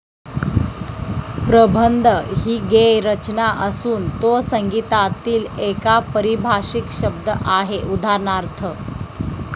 प्रबंध हि गेय रचना असून तो संगीतातील एका पारिभाषिक शब्द आहे. उदाहरणार्थ,